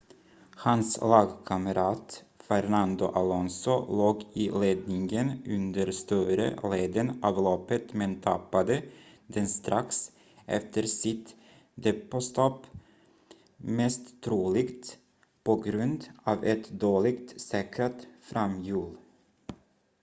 hans lagkamrat fernando alonso låg i ledningen under större delen av loppet men tappade den strax efter sitt depåstopp mest troligt på grund av ett dåligt säkrat framhjul